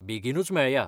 बेगीनूच मेळया!